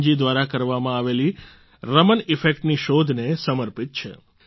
રમન જી દ્વારા કરવામાં આવેલી રમણ ઇફેક્ટ ની શોધને સમર્પિત છે